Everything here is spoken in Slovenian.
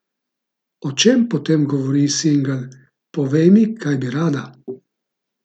O čem potem govori singl Povej mi, kaj bi rada?